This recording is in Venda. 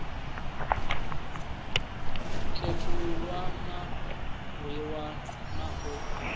khethululwa a rwiwa na u